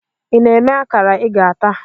Ị na-eme akara ị ga-ata?